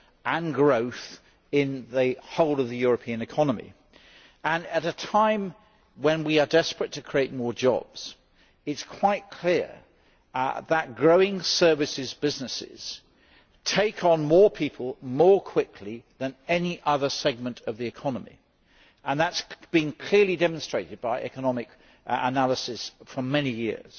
and growth in the whole European economy. At a time when we are desperate to create more jobs, it is quite clear that growing service businesses take on more people more quickly than any other segment of the economy that has been clearly demonstrated by economic analysis for many years.